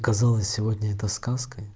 казалось сегодня это сказкой